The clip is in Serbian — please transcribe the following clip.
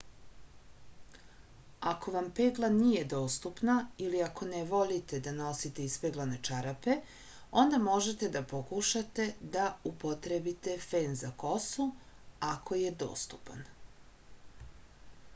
ako vam pegla nije dostupna ili ako ne volite da nosite ispeglane čarape onda možete da pokušate da upotrebite fen za kosu ako je dostupan